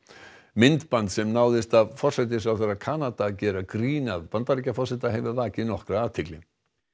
myndband sem náðist af forsætisráðherra Kanada gera grín að Bandaríkjaforseta hefur vakið nokkra athygli